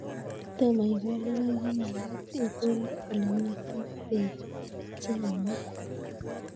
Kotomo ikol logoek ko magat ikolee ole mito peek che yemei